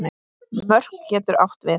Mörk getur átt við